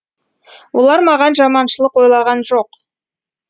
олар маған жаманшылық ойлаған жоқ